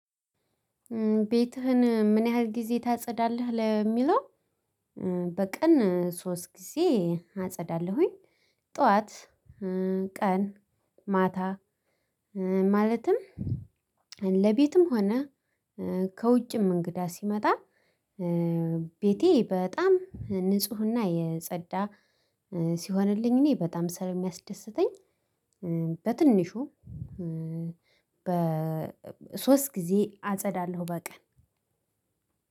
ቤትህን ምን ያህል ጊዜ ታጸዳለህ ለሚለው? በቀን ሶስት ጊዜ አጸዳለሁኝ። ጠዋት ቀን ማታ። ማለትም ለቤትም ሆነ ከውጪም እንግዳ ሲመጣ ቤቴ በጣም ንፁህና የጸዳ ሲሆንልኝ እኔ በጣም ስለሚያስደስተኝ። በትንሹ በሶስት ጊዜ አጸዳለሁ በቀን